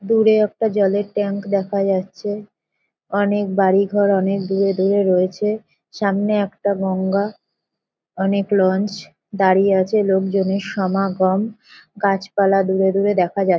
দূরে একটা জলের ট্যাঙ্ক দেখা যাচ্ছে। অনেক বাড়ি ঘর অনেক দূরে দূরে রয়েছে সামনে একটা গঙ্গা অনেক লঞ্ছ দাঁড়িয়ে আছে লোকজনের সমাগম গাছপালা দূরে দূরে দেখা যাচ্ছে ।